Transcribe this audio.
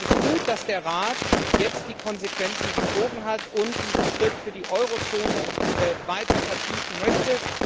Es ist gut, dass der Rat jetzt die Konsequenzen gezogen hat und diesen Schritt für die Eurozone weiter vertiefen möchte.